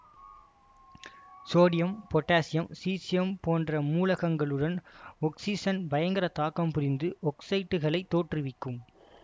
sodium potassium caesium போன்ற மூலகங்களுடன் oxygen பயங்கர தாக்கம் புரிந்து ஒக்சைட்டுகளைத் தோற்றுவிக்கும்